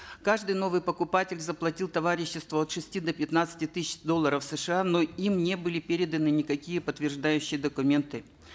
каждый новый покупатель заплатил товариществу от шести до пятнадцати тысяч долларов сша но им не были переданы никакие подтверждающие документы